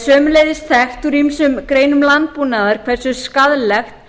sömuleiðis þekkt úr ýmsum greinum landbúnaðar hversu skaðlegt